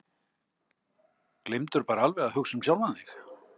Gleymdirðu bara alveg að hugsa um sjálfan þig?